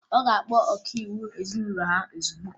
Ọ ga-akpọ ọkaiwu ezinụlọ ha ozugbo